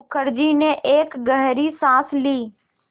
मुखर्जी ने एक गहरी साँस ली